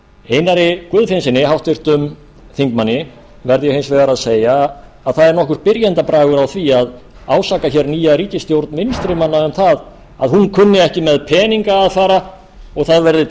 einar guðfinnssyni háttvirtum þingmanni verð ég hins vegar að segja að það er nokkur byrjendabragur á því að ásaka hér nýja ríkisstjórn vinstri manna um það að hún kunni ekki með peninga að fara og það verði